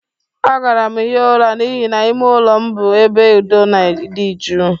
Agara m hie ụra n'ihi na ime ụlọ m bụ ebe udo na ịdị jụụ.